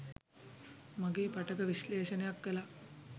මගේ පටක විශ්ලේෂණයක් කළා